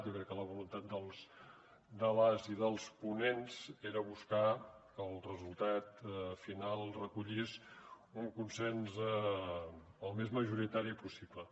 jo crec que la voluntat de les i dels ponents era buscar que el resultat final recollís un consens el més majoritari possible